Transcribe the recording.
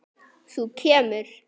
Þú kemur.